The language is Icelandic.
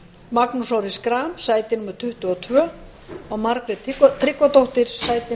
magnús orri schram sæti tuttugu og tvö og margrét tryggvadóttir